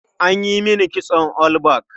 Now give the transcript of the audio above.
An yi mini kitson all back.